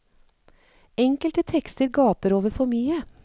Enkelte tekster gaper over for mye.